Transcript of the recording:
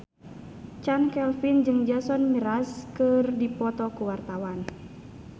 Chand Kelvin jeung Jason Mraz keur dipoto ku wartawan